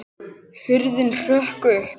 Hurðin hrökk upp!